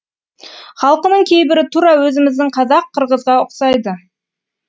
халқының кейбірі тура өзіміздің қазақ қырғызға ұқсайды